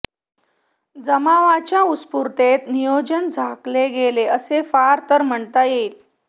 जमावाच्या उत्स्फूर्ततेत नियोजन झाकले गेले असे फार तर म्हणता येईल